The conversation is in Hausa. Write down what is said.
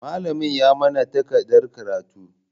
Malamin ya manna takardan karatu.